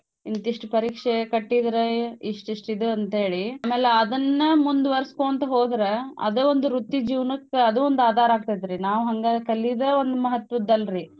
ಇಂತಿಷ್ಟ ಪರೀಕ್ಷೆ ಕಟ್ಟೀದ್ರೆ ಇಷ್ಟ್ಇಷ್ಟ್ ಇದು ಅಂತೇಳಿ ಅಮೇಲ್ ಅದನ್ನ ಮುಂದ್ವರ್ಸಕೋಂತ್ ಹೋದ್ರ ಅದ ಒಂದ್ ವೃತ್ತಿ ಜೀವ್ನಕ್ ಅದೂ ಒಂದ್ ಆಧಾರ ಆಕ್ತತ್ರಿ ನಾವ್ ಹಂಗ ಕಲೀದೇ ಒಂದ್ ಮಹತ್ವದ್ ಅಲ್ರೀ.